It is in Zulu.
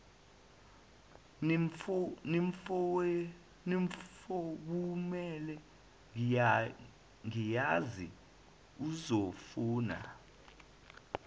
nimfowunele ngiyazi uzofuna